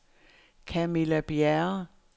Camilla Bjerre